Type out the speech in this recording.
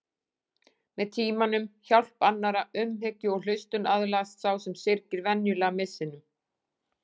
Með tímanum, hjálp annarra, umhyggju og hlustun aðlagast sá sem syrgir venjulega missinum.